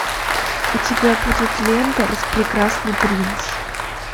у тебя будет лента распрекрасный принц